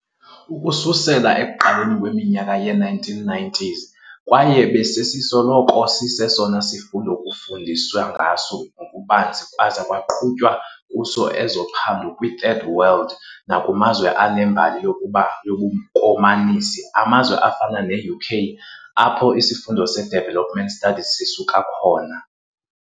ukususela ekuqaleni kweminyaka yee-1990s, kwaye besisoloko sisesona sifundo kufundiswe ngaso ngokubanzi kwaza kwaqhutywa kuso ezophando kwi-third world nakumazwe anembali yobukomanisi, amazwe afana ne-UK, apho isifundo se-development studies sisuka khona.